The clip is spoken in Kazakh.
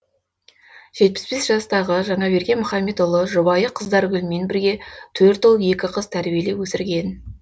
жетпіс бес жастағы жаңаберген мұхамедұлы жұбайы қыздаргүлмен бірге төрт ұл екі қыз тәрбиелеп өсірген